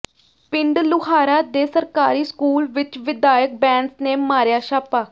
ਪਿੰਡ ਲੁਹਾਰਾ ਦੇ ਸਰਕਾਰੀ ਸਕੂਲ ਵਿੱਚ ਵਿਧਾਇਕ ਬੈਂਸ ਨੇ ਮਾਰਿਆ ਛਾਪਾ